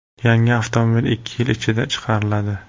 Yangi avtomobil ikki yil ichida chiqariladi.